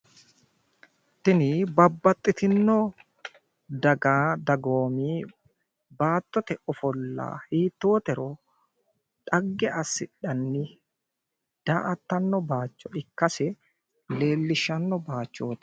Tini babbaxitino daga dagoomi baattote ofolla hiittotero dhagge asidhanni daa'atanno bayicho ikkase leellishshanno bayichooti.